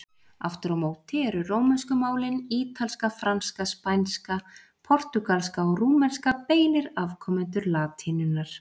Aftur á móti eru rómönsku málin, ítalska, franska, spænska, portúgalska og rúmenska, beinir afkomendur latínunnar.